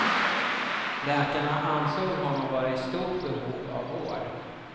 Läkarna ansåg honom vara i stort behov av vård.